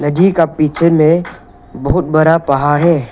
नदी का पीछे में बहुत बड़ा पहाड़ है।